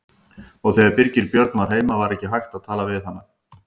Og þegar Birgir Björn var heima var ekki hægt að tala við hana.